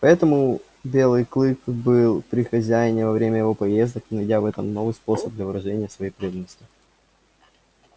поэтому белый клык был при хозяине во время его поездок найдя в этом новый способ для выражения своей преданности